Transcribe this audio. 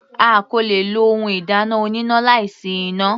A kò le lo ohun ìdáná oníná láì sí iná.